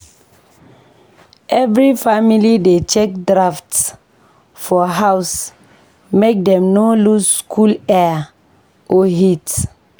Every family dey check drafts for house make dem no lose cool air or heat.